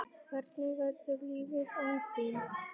Hvernig verður lífið án þín?